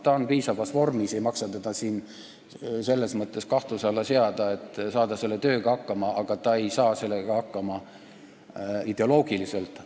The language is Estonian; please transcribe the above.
Ta on piisavalt heas vormis – ei maksa seda siin kahtluse alla seada –, et selle tööga hakkama saada, aga ta ei saa hakkama ideoloogiliselt.